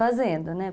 Fazendo, né?